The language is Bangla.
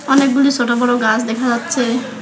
অনেকগুলি সোট বড়ো গাস দেখা যাচ্ছে।